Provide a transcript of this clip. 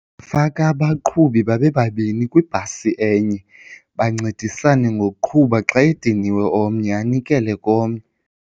Ndingafaka abaqhubi babe babini kwibhasi enye bancedisane ngokuqhuba xa ediniwe omnye anikele komnye.